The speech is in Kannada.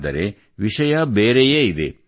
ಆದರೆ ವಿಷಯ ಬೇರೆಯೇ ಇದೆ